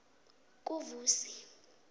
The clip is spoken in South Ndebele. kuvusi